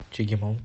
чегемом